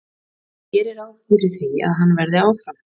Ég geri ráð fyrir því að hann verði áfram.